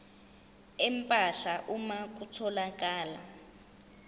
empahla uma kutholakala